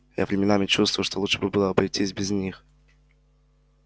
я временами чувствую что лучше бы было обойтись без них